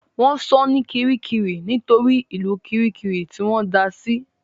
Wọ́n sọ ní Kirikiri nítorí ìlú Kirikiri tí wọ́n da sí